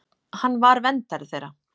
Hann var verndari þeirra.